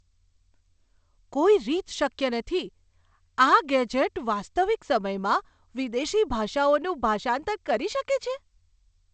કોઈ રીત શક્ય નથી! આ ગેજેટ વાસ્તવિક સમયમાં વિદેશી ભાષાઓનું ભાષાંતર કરી શકે છે?